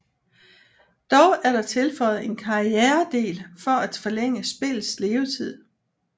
Dog er der tilføjet en karrieredel for at forlænge spillets levetid